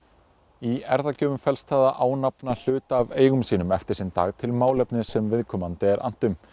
í felst það að ánafna hluta af eigum sínum eftir sinn dag til málefnis sem viðkomandi er annt um